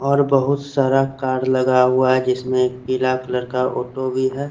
और बहुत सारा कार्ड लगा हुआ है जिसमे पिला कलर का ऑटो भी है।